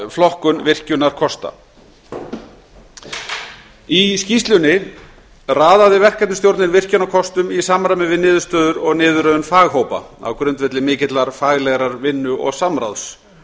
flokkun virkjunarkosta í skýrslunni raðaði verkefnisstjórnin virkjunarkostum í samræmi við niðurstöður og niðurröðun faghópa á grundvelli mikillar faglegrar vinnu og samráðs